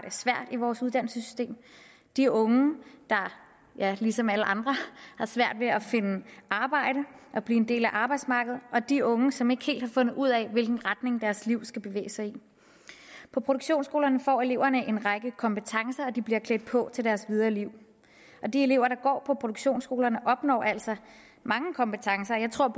svært i vores uddannelsessystem de unge der ligesom alle andre har svært ved at finde arbejde og blive en del af arbejdsmarkedet og de unge som ikke helt har fundet ud af hvilken retning deres liv skal bevæge sig i på produktionsskolerne får eleverne en række kompetencer og de bliver klædt på til deres videre liv de elever der går på produktionsskolerne opnår altså mange kompetencer jeg tror